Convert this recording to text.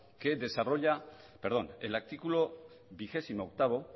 que desarrolla perdón el artículo veintiocho